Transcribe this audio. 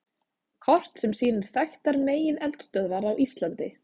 Kort sem sýnir þekktar megineldstöðvar á Íslandi.